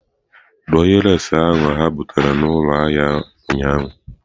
Dụọ ihe leesị ahụ ha butere n'ụlọ ahịa ụnyaahụ!.